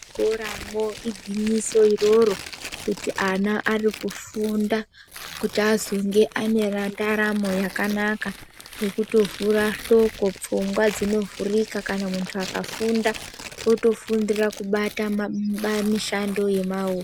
ZvikoraMwo igwinyiso iroro kuti ana arikufunda kuti azonge ane mandaramo yakanaka ngekutovhura hloko pfungwa dzinovhurika kana muntu akafunda otofundira kubata mu mi mishando yemaoko.